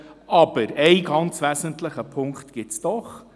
Aber einen ganz wesentlichen Punkt gibt es doch: